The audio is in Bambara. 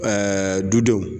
Ɛɛ dudenw